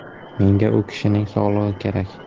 Menga u kishining sog‘lig‘i kerak.